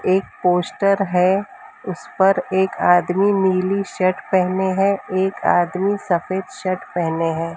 एक पोस्टर है उस पर एक आदमी नीली शर्ट पहने हैं एक आदमी सफेद शर्ट पहने हैं।